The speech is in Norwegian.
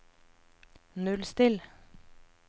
nullstill